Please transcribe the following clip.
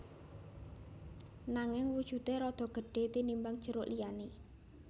Nanging wujudé rada gedhé tinimbang jeruk liyané